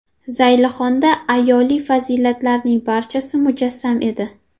Zaylixonda ayoliy fazilatlarning barchasi mujassam edi.